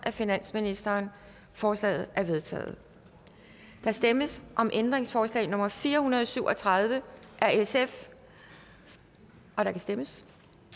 af finansministeren forslagene er vedtaget der stemmes om ændringsforslag nummer fire hundrede og syv og tredive af sf og der kan stemmes